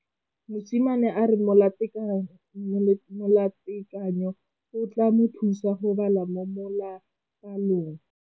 Mosimane a re molatekanyô o tla mo thusa go bala mo molapalong.